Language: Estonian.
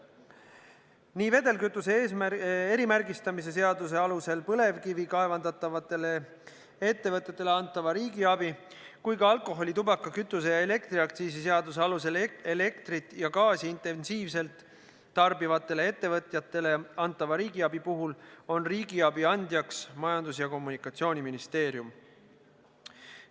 Nii vedelkütuse erimärgistamise seaduse alusel põlevkivi kaevandavatele ettevõtetele antavata riigiabi kui ka alkoholi-, tubaka-, kütuse- ja elektriaktsiisi seaduse alusel elektrit ja gaasi intensiivselt tarbivatele ettevõtjatele antava riigiabi puhul on riigiabi andjaks Majandus- ja Kommunikatsiooniministeerium.